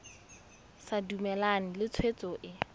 sa dumalane le tshwetso e